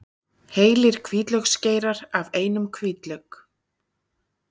Heilir hvítlauksgeirar af einum hvítlauk